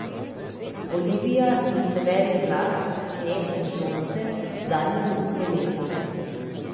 Olivija in Severin glas, sneg in sonce, zadnje minute leta.